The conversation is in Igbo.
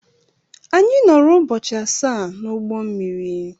Anyị nọọrọ ụbọchị asaa n'ụgbọ mmiri.